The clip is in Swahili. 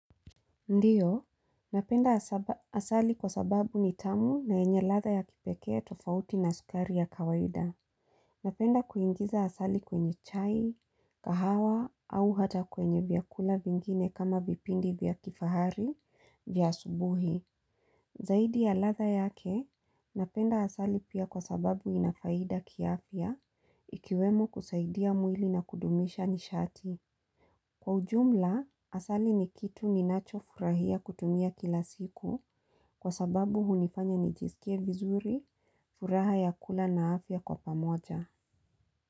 Ndiyo, napenda asali kwa sababu ni tamu na yenye ladha ya kipekee tofauti na sukari ya kawaida. Napenda kuingiza asali kwenye chai, kahawa au hata kwenye vyakula vingine kama vipindi vya kifahari vya asubuhi. Zaidi ya ladha yake, napenda asali pia kwa sababu inafaida kiafya ikiwemo kusaidia mwili na kudumisha nishati. Kwa ujumla, asali ni kitu ninacho furahia kutumia kila siku kwa sababu hunifanya nijisikia vizuri, furaha ya kula na afya kwa pamoja.